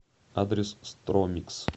адрес стромикс